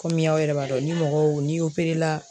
Kɔmi aw yɛrɛ b'a dɔn ni mɔgɔw n'i la